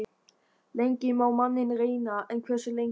Lengi má manninn reyna- en hversu lengi?